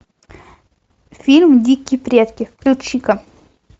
фильм дикие предки включи ка